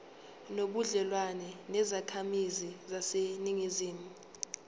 nobudlelwane nezakhamizi zaseningizimu